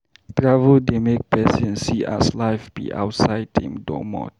Travel dey make pesin see as life be outside im domot.